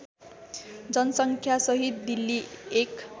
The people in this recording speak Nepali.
जनसङ्ख्यासहित दिल्ली एक